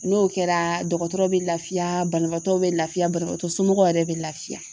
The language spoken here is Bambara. N'o kɛra dɔgɔtɔrɔ be lafiya banabaatɔw be lafiya banabaatɔ somɔgɔw yɛrɛ be lafiya